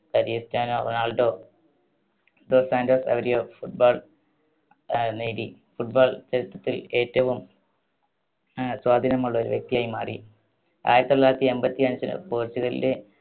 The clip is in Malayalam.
Cristiano Ronaldo dos Santos Aveiro football ആ നേടി football ചരിത്രത്തിൽ ഏറ്റവും ആഹ് സ്വാധീനമുള്ള ഒരു വ്യക്തിയായി മാറി. ആയിരത്തി തൊള്ളായിരത്തി എൺപത്തിയഞ്ചിന് പോർച്ചുഗലിലെ